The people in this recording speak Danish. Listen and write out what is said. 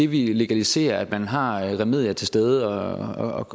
vi legaliserer at man har remedier til stede